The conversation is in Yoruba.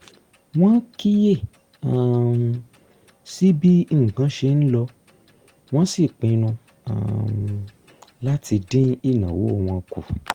wọ́n kíyè um sí bí nǹkan ṣe ń lọ wọ́n sì pinnu um láti dín ìnáwó wọn kù